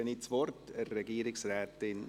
Dann gebe ich das Wort der Regierungsrätin.